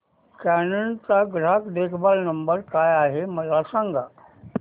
canon चा ग्राहक देखभाल नंबर काय आहे मला सांग